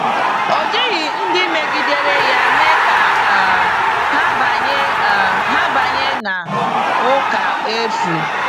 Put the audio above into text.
Ọ jighị ndị megidere ya mee ka um ha banye um ha banye n’ụka efu.